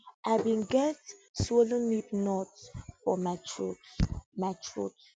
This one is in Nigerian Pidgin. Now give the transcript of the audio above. i bin get swollen lymph nodes for my throat my throat